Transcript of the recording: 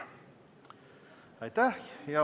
Aitäh!